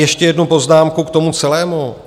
Ještě jednu poznámku k tomu celému.